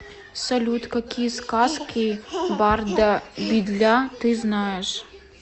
салют какие сказки барда бидля ты знаешь